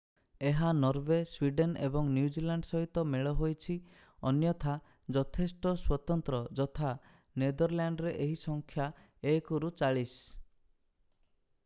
ଏହା Norway Sweden ଏବଂ New Zealand ସହିତ ମେଳ ହୋଇଛି ଅନ୍ୟଥା ଯଥେଷ୍ଟ ସ୍ଵତନ୍ତ୍ର ଯଥା ନେଦରଲ୍ୟାଣ୍ଡରେ ଏହି ସଂଖ୍ୟା 1ରୁ ଚାଳିଶ।